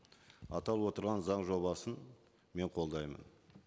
аталып отырған заң жобасын мен қолдаймын